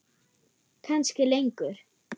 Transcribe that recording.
Kannski lengur.